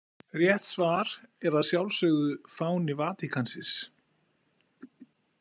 Rétt svar er að sjálfsögðu fáni Vatíkansins.